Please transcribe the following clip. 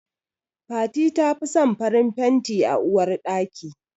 Fati tafi son farin fanti a uwar ɗaka.